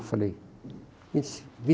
Eu falei